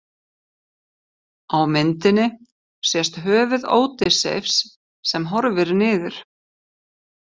Á myndinni sést höfuð Ódysseifs sem horfir niður.